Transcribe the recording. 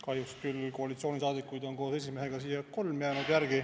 Kahjuks küll koalitsioonisaadikuid on siia järele jäänud koos esimehega kolm.